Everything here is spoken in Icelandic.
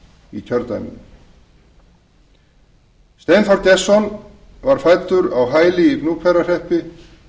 í kjördæminu steinþór gestsson var fæddur á hæli í gnúpverjahreppi